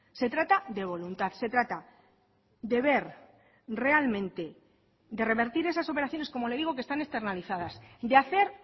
se trata de voluntad se trata de ver realmente de revertir esas operaciones como le digo que están externalizadas de hacer